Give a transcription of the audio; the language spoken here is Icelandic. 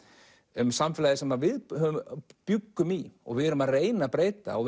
um samfélagið sem við bjuggum í og erum að reyna að breyta og